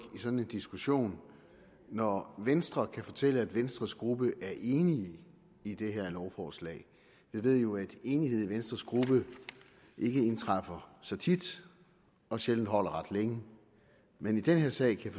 i sådan en diskussion når venstre kan fortælle at venstres gruppe er enig i det her lovforslag vi ved jo at enighed i venstres gruppe ikke indtræffer så tit og sjældent holder ret længe men i den her sag kan